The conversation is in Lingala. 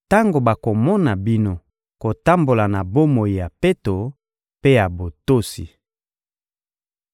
tango bakomona bino kotambola na bomoi ya peto mpe ya botosi.